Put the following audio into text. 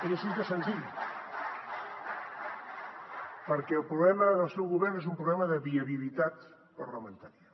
és així de senzill perquè el problema del seu govern és un problema de viabilitat parlamentària